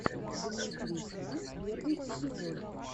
дмитрий к первый эпизод